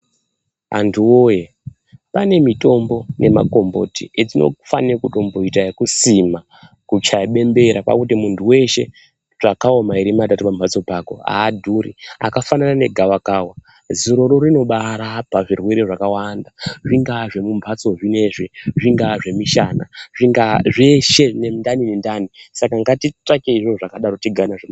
Vantu woye pane mitombo nemagomboti etinofano kutomboita ekusima, kuchaya bembera ,kwakuti muntu weshe tsvakavo mairi , matatu pamhatso pako haadhuri akafanana negavakava, ziroroo rinobaaarapa zvirwere zvakawanda, zvingava zveumbatso zvino izvi zvingava zvemishana, zvingaaa zveshe nendani nendani, ngatitsvakei zvinhu zvakadayo zvigare nazvo.